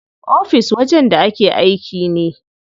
Ofis wajen da ake aiki ne.